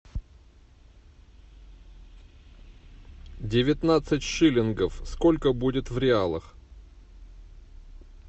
девятнадцать шиллингов сколько будет в реалах